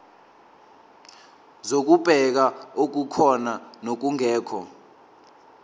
zokubheka okukhona nokungekho